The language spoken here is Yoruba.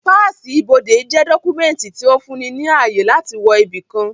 Páàsì ibodè jẹ́ dọ́kúmẹ̀ntì tí ó fún ni ní ààyè láti wọ ibi kan